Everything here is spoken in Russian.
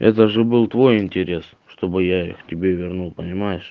это же был твой интерес чтобы я их тебе вернул понимаешь